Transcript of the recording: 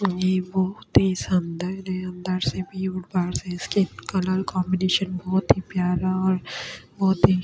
ये वो अति सुन्दर है अंदर से भी और बाहर से इसके कलर कॉम्बिनेशन बहौत ही प्यारा और बहौत ही --